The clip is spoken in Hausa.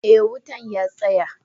Eh wutan ya tsaya.